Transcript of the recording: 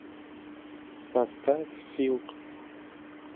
поставь силк